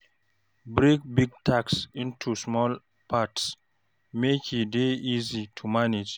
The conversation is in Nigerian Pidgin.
Break big tasks into small parts, make e dey easy to manage.